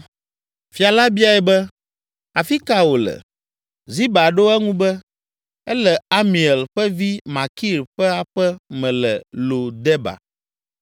Fia la biae be, “Afi ka wòle?” Ziba ɖo eŋu be, “Ele Amiel ƒe vi Makir ƒe aƒe me le Lo Debar.”